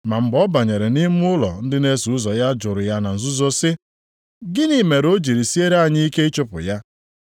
Ma mgbe ọ banyere nʼime ụlọ ndị na-eso ụzọ ya jụrụ ya na nzuzo sị, “Gịnị mere o jiri siere anyị ike ịchụpụ ya?”